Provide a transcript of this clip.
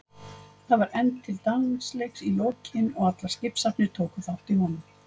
Það var efnt til dansleiks í lokin og allar skipshafnir tóku þátt í honum.